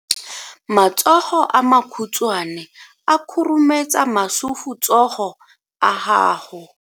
Matsogo a makhutshwane a khurumetsa masufutsogo a gago.